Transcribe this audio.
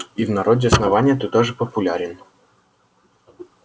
и в народе основания ты тоже популярен